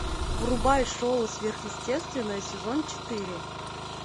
врубай шоу сверхъестественное сезон четыре